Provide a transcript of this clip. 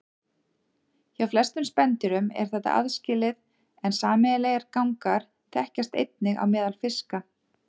Hjá flestum spendýrum er þetta aðskilið en sameiginlegir gangar þekkjast einnig á meðal fiska.